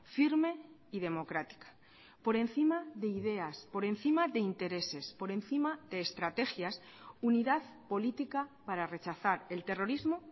firme y democrática por encima de ideas por encima de intereses por encima de estrategias unidad política para rechazar el terrorismo